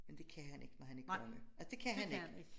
Men det kan han ikke når han er konge altså det kan han ik